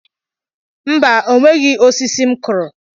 Mba, o nweghị osisi m kụrụ.